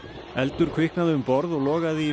eldur kviknaði um borð og logaði í